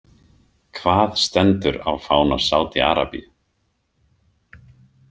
Hvað stendur á fána Saudi- Arabíu ?